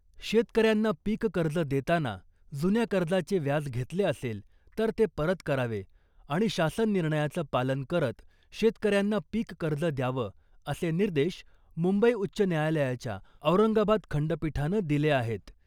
शेतकऱ्यांना पीक कर्ज देताना जुन्या कर्जाचे व्याज घेतले असेल , तर ते परत करावे आणि शासन निर्णयाचं पालन करत शेतकऱ्यांना पीक कर्ज द्यावं , असे निर्देश मुंबई उच्च न्यायालयाच्या औरंगाबाद खंडपीठानं दिले आहेत .